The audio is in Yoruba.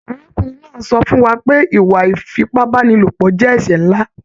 Arákùnrin náà sọ fún wà pé ìwà ifipabanilopọ jẹ ẹsẹ nlá.